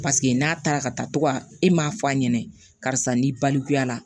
Paseke n'a taara ka taa to ka e m'a f'a ɲɛna karisa n'i balikuya la